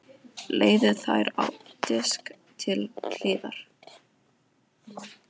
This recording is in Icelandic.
Leggið þær á disk til hliðar.